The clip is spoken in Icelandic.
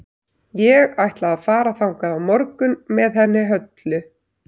Ég ætla að fara þangað á morgun með henni Höllu.